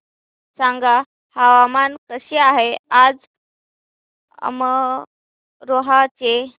सांगा हवामान कसे आहे आज अमरोहा चे